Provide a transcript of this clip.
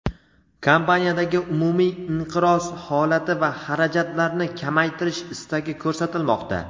kompaniyadagi umumiy inqiroz holati va xarajatlarni kamaytirish istagi ko‘rsatilmoqda.